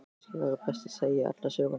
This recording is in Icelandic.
Kannski væri best að segja alla söguna.